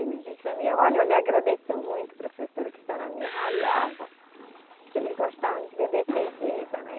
Ele diz para mim, olha, eu lhe agradeço muito, professora, que a senhora me ralhava, que eles gostavam de beber cerveja, né?